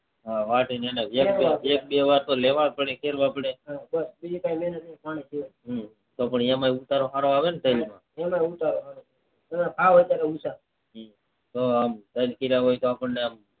હા વાઢી ને જેમકે એક બે વાર તો લેવાતો પડે હમ એમાં તો ઉતાર હારો આલવો પડે ને આપણને